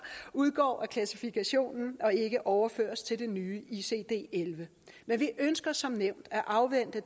udgår af klassifikationen og ikke overføres til det nye icd elleve men vi ønsker som nævnt at afvente